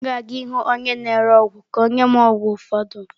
M ga-aga ịhụ onye na-ere ọgwụ ka ọ nye m ọgwụ ụfọdụ.